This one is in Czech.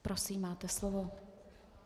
Prosím, máte slovo.